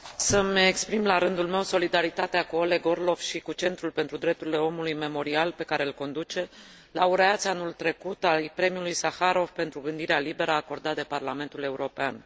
Țin să mi exprim, la rândul meu, solidaritatea cu Oleg Orlov și cu Centrul pentru Drepturile Omului Memorial pe care îl conduce, laureați anul trecut al premiului Saharov pentru gândirea liberă acordat de Parlamentul European.